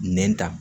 Nɛn ta